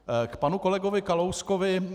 K panu kolegovi Kalouskovi.